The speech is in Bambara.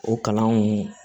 O kalanw